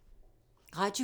Radio 4